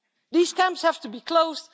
These camps have to be closed.